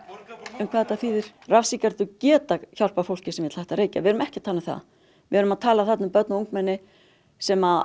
um hvað þetta þýðir rafsígarettur geta hjálpað fólki sem vill hætta að reykja við erum ekki að tala um það við erum að tala um börn og ungmenni sem